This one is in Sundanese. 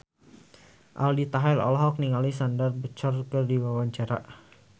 Aldi Taher olohok ningali Sandar Bullock keur diwawancara